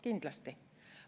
Kindlasti.